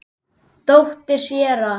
Dóttir séra